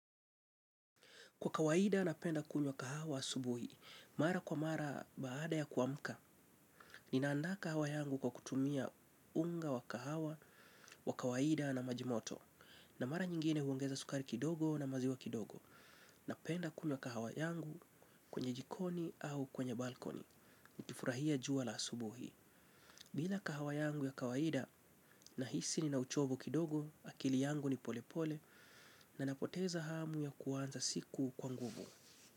Kwa kawaida napenda kunywa kahawa asubuhi, mara kwa mara baada ya kuamka. Ninaanda kahawa yangu kwa kutumia unga wa kahawa, wa kawaida na maji moto. Na mara nyingine huongeza sukari kidogo na maziwa kidogo. Napenda kunywa kahawa yangu kwenye jikoni au kwenye balkoni. Kifurahia jua la asubuhi. Bila kahawa yangu ya kawaida nahisi ni na uchovu kidogo, akili yangu ni polepole, na napoteza hamu ya kuanza siku kwa nguvu.